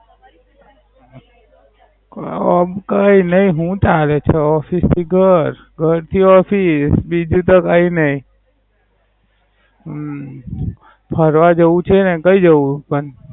ઓમ કઈ નાઈ શું ચાલે છે કઈ નઈ Office થી ઘર ઘર થી Office બીજું તો કઈ નઈ. હમ ફરવા જવું છે ને કઈ જવું પણ.